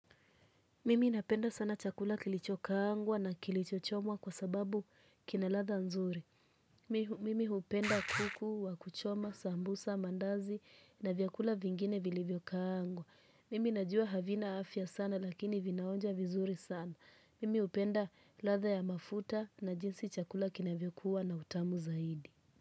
Mimi napenda sana chakula kilichokaangwa na kilichochomwa kwa sababu kina ladha nzuri. Mimi hupenda kuku, wa kuchoma, sambusa, mandazi na vyakula vingine vilivyokaangwa. Mimi najua havina afya sana lakini vinaonja vizuri sana. Mimi hupenda ladha ya mafuta na jinsi chakula kinavyokuwa na utamu zaidi.